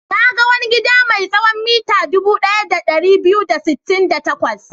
Na ga wani gida mai tsawon mita dubu ɗaya da ɗari biyu da sittin da takwas.